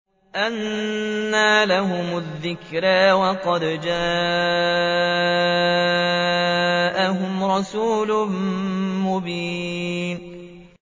أَنَّىٰ لَهُمُ الذِّكْرَىٰ وَقَدْ جَاءَهُمْ رَسُولٌ مُّبِينٌ